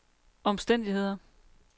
omstændigheder